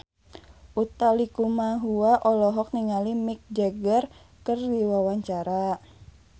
Utha Likumahua olohok ningali Mick Jagger keur diwawancara